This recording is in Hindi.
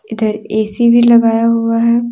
इधर ए_सी भी लगाया हुआ है।